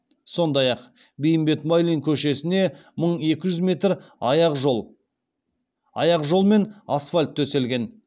сондай ақ бейімбет майлин көшесіне мың екі жүз метр аяқ жол мен асфальт төселген